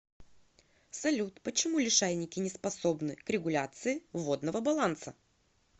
салют почему лишайники не способны к регуляции водного баланса